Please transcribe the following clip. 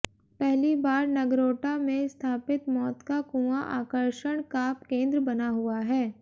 पहली बार नगरोटा में स्थापित मौत का कुआं आकर्षण का केंद्र बना हुआ है